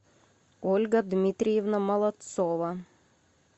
ольга дмитриевна молодцова